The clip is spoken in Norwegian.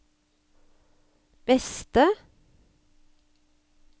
beste